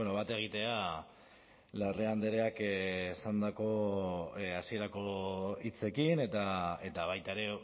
bat egitea larrea andreak esandako hasierako hitzekin eta baita ere